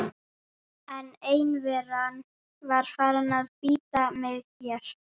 En einveran var farin að bíta mig hér.